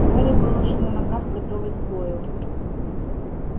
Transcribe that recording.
гарри был уже на ногах готовый к бою